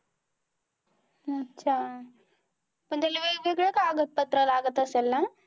अच्छा पण त्याला लई वेगळं कागद पत्र लागत असेल ना?